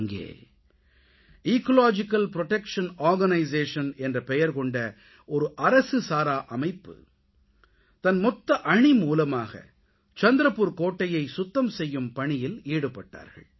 அங்கே ecological protection organisation என்ற பெயர் கொண்ட அரசுசாரா அமைப்பு தன் மொத்த அணி மூலமாக சந்த்ரபுர் கோட்டையை சுத்தம் செய்யும் பணியில் ஈடுபட்டார்கள்